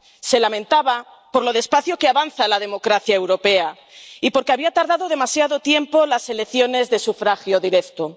Se lamentaba por lo despacio que avanza la democracia europea y por que se había tardado demasiado tiempo en implantar las elecciones de sufragio directo.